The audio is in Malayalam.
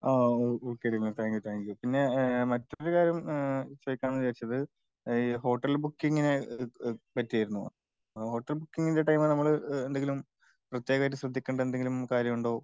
ആഹ് ഒകെ ദിൽന താങ്ക്യൂ താങ്ക്യൂ പിന്നെ ഈഹ് മറ്റൊരു കാര്യം ഇഹ് ചോയ്കാന്ന് വിചാരിച്ചത് ഈ ഹോട്ടൽ ബുക്കിങ്ങിനെ പറ്റിയാർന്നു. ഹോട്ടൽ ബുക്കിങ്ങിൻ്റെ ടൈമിൽ നമ്മള് എന്തെങ്കിലും പ്രത്യേകായിട്ട് ശ്രദ്ധിക്കണ്ട എന്തെങ്കിലും കാര്യമുണ്ടോ?